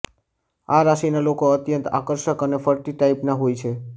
આ રાશિના લોકો અત્યંત આકર્ષક અને ફ્લર્ટી ટાઇપના હોય છે